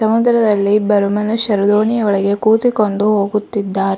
ಸಮುದ್ರದಲ್ಲಿ ಇಬ್ಬರು ಮನುಷ್ಯರು ದೋಣಿಯ ಒಳಗೆ ಕೂತಿಕೊಂಡು ಹೋಗುತ್ತಿದ್ದಾರ್--